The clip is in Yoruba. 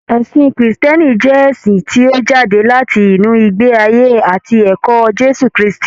Ẹ̀sìn krìstìẹ́nì jẹ́ ẹ̀sìn tí ó jáde láti inú ìgbé ayé àti ẹ̀kọ́ Jésù Krístì.